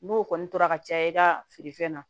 N'o kɔni tora ka caya i ka feerefɛn na